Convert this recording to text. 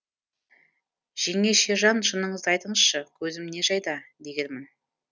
жеңешежан шыныңызды айтыңызшы көзім не жайда дегенмін